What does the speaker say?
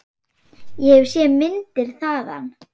Ég hef séð myndir þaðan.